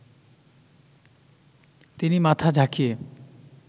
তিনি মাথা ঝাঁকিয়ে